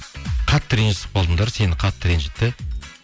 қатты ренжісіп қалдыңдар сені қатты ренжітті